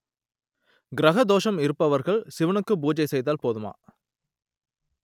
கிரக தோஷம் இருப்பவர்கள் சிவனுக்கு பூஜை செய்தால் போதுமா